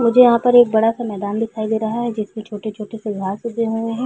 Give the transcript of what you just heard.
मुझे यहाँ पर एक बड़ा सा मैदान दिखाई दे रहा है जिसमें छोटी-छोटी सी घास उगे हुऐ हैं।